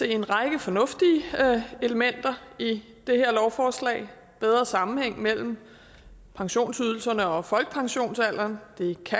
en række fornuftige elementer i det her lovforslag bedre sammenhæng mellem pensionsydelserne og folkepensionsalderen